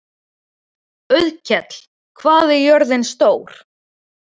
Auðkell, hvað er jörðin stór?